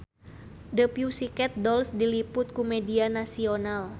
The Pussycat Dolls diliput ku media nasional